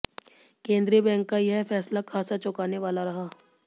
केंद्रीय बैंक का यह फैसला खासा चौंकाने वाला रहा